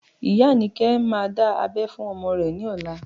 Iya Anike má dá abẹ́ fún ọmọ rẹ ní ọ̀la